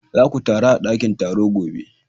Za ku taru a dakin taro gobe!